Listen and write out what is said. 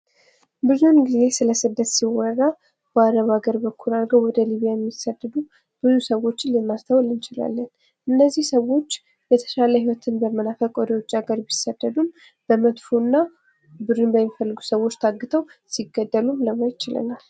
ብዙውን ጊዘ ስለስደት ሲወራ በአለም ሀገራት ላይ አድርገን ወደ ሊቢያ የሚሰደዱ ብዙ ሰዎችን ልናስታዉል እንችላለን ። እነዚህ ሰወች የተሻለ ህይወትን በመናፈቅ ወደ ውጭ ሀገር ቢሰደዱም በመጥፎ ሁኔታ ነው።